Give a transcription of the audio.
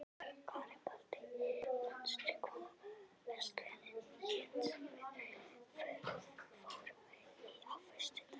Garibaldi, manstu hvað verslunin hét sem við fórum í á föstudaginn?